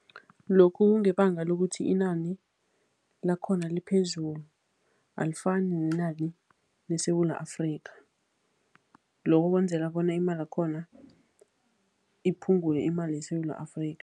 Lokhu kungebanga lokuthi inani lakhona liphezulu, alifani nenani leSewula Afrika. Lokho kwenzela bona imali yakhona, iphungule imali yeSewula Afrika.